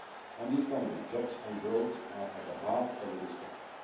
On the economy, jobs and growth are at the heart of the discussion.